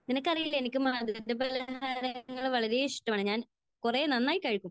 നിനക്കറിയില്ലേ? എനിക്ക് മധുരപലഹാരങ്ങൾ വളരെ ഇഷ്ടമാണ്. ഞാന് കുറേ, നന്നായി കഴിക്കും.